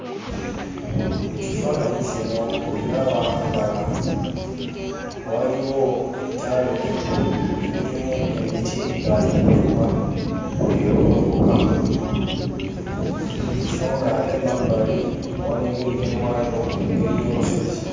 Mu kifaananyi kino ndaba nga waliwo ettale eririmu emiti nga enjuba egolokoka so ng'ate emabbali walengerekebwayo engeri y'olusozi.